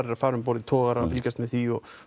að fara um borð í togara fylgjast með því og